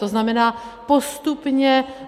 To znamená postupně...